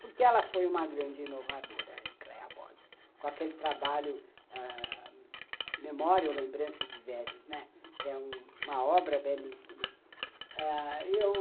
Porque ela foi uma grande inovadora, a Ecléa Bosi, com aquele trabalho ãh Memória ou Lembrança de Velhos, né, uhum, que é uma obra belíssima. Eu...